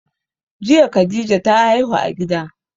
Jiya khadija ta haihu a gida